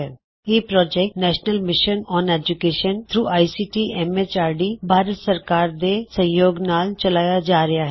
ਇਹ project national mission on education through ICT MHRD Bharat ਸਰਕਾਰ ਦੇ ਸਹਿਯੋਗ ਨਾਲ ਚਲਾਇਆ ਜਾ ਰਿਹਾ ਹੈ